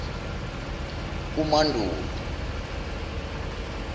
umandulo